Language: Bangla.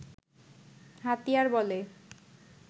হাতিয়ার বলে